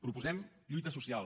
proposem lluita social